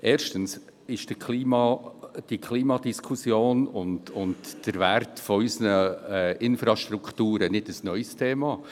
Erstens sind die Klimadiskussion und der Wert unserer Infrastrukturen kein neues Thema.